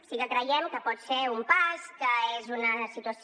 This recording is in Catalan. sí que creiem que pot ser un pas que és una situació